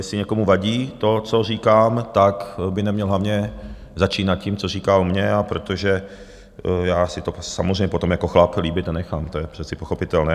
Jestli někomu vadí to, co říkám, tak by neměl hlavně začínat tím, co říká o mně, a protože já si to samozřejmě potom jako chlap líbit nenechám, to je přece pochopitelné.